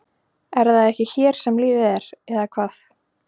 Er það ekki hér sem lífið er. eða hvað?